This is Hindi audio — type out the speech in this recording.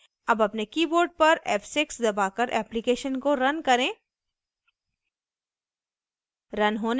अब अपने keyboard पर f6 दबाकर application को रन करें